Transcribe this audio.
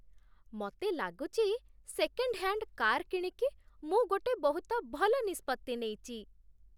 ମତେ ଲାଗୁଛି second hand car କିଣିକି ମୁଁ ଗୋଟେ ବହୁତ ଭଲ ନିଷ୍ପତ୍ତି ନେଇଛି